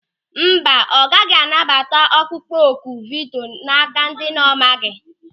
Mba, ọ gaghị anabata ọkpụkpọ oku vidio n'áká ndị ọ na-amaghị.